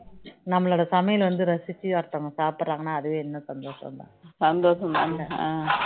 நம்மளோட சமையல் வந்து ரசிச்சி ஒருத்தவங்க சாப்பிடுறாங்கனா அதுவே இன்னும் சந்தோஷம் தான் சந்தோஷம் தானே